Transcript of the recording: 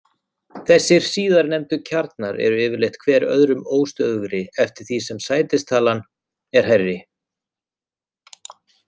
Þessir síðarnefndu kjarnar eru yfirleitt hver öðrum óstöðugri eftir því sem sætistalan er hærri.